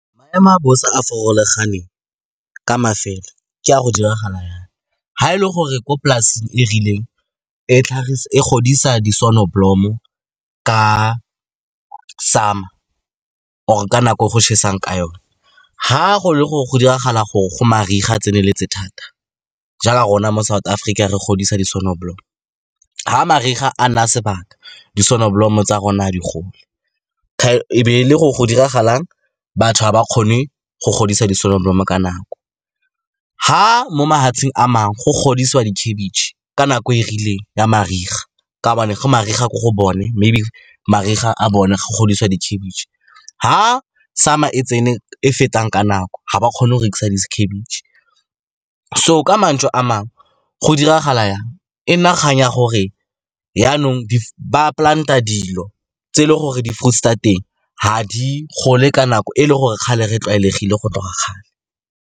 Maemo a bosa a a farologaneng ka mafelo ke a go diragala jaana, ga e le gore kwa polaseng e rileng e godisa di-soneblomo ka summer or ka nako go tšhesang ka yone, ga go le gore go diragala gore go mariga a tseneletse thata, jaaka rona mo South Africa re godisa di-soneblomo, ga mariga a nna sebaka, di-soneblomo tsa rona ga di gole, e be e le go diragalang, batho ga ba kgone go godisa di-soneblomo ka nako. Ga mo mafatsheng a mangwe go godisiwa dikhebetšhe ka nako e e rileng ya mariga, ka ba ne go mariga ko go bone, maybe mariga a bone go godisiwa di dikhebetšhe, ga summer e tsene e fetang ka nako, ga ba kgone go rekisa dikhebetšhe. So ka mantswe a mangwe go diragala jang? E nna kgang ya gore jaanong ba plant-a dilo tse e le gore di-fruits-e tsa teng ga di gole ka nako e le gore kgale re tlwaelegile go tloga kgale.